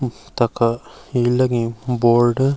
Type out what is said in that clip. तखा हील लगीं बोर्ड ।